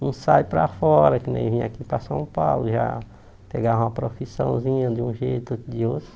Um sai para fora, que nem vim aqui para São Paulo, já pegava uma profissãozinha de um jeito outro de outro.